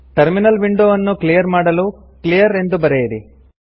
terminal window ಅನ್ನು clear ಮಾಡಲು clear ಎಂದು ಬರೆಯಿರಿ